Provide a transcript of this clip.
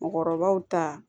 Mɔgɔkɔrɔbaw ta